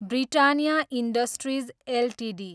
Britannia Industries Ltd